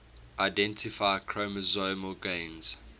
identify chromosomal gains